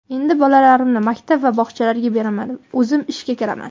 Endi bolalarimni maktab va bog‘chalarga beraman, o‘zim ishga kiraman.